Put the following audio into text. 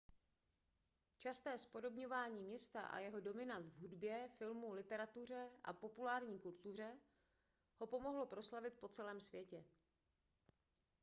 časté zpodobňování města a jeho dominant v hudbě filmu literatuře a populární kultuře ho pomohlo proslavit po celém světě